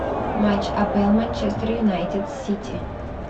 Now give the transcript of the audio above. матч апл манчестер юнайтед сити